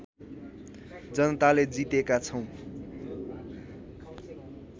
जनताले जितेका छौँ